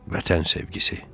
Vətən sevgisi.